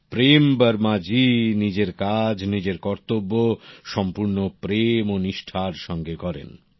প্রেম বর্মা জী নিজের কাজ নিজের কর্তব্য সম্পুর্ণ প্রেম ও নিষ্ঠা র সঙ্গে করেন